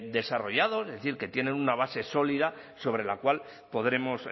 desarrollados es decir que tienen una base sólida sobre la cual podremos